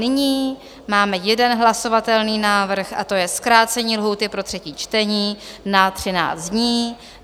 Nyní máme jeden hlasovatelný návrh a to je zkrácení lhůty pro třetí čtení na 13 dní.